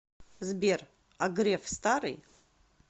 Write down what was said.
сбер а греф старый